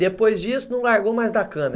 Depois disso, não largou mais da câmera?